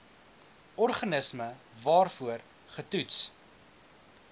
organisme waarvoor getoets